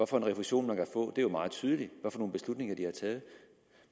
for en refusion man kan få det er jo meget tydeligt hvad for nogle beslutninger de tager